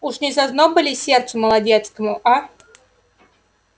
уж не зазноба ли сердцу молодецкому а